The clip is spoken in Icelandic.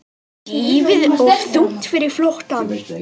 Þýfið of þungt fyrir flóttann